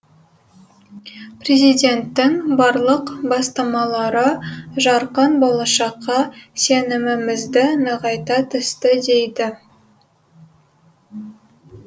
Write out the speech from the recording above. президенттің барлық бастамалары жарқын болашаққа сенімімізді нығайта түсті дейді